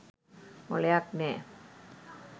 මොළයක් නෑ.